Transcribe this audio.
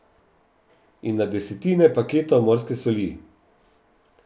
In na desetine paketov morske soli.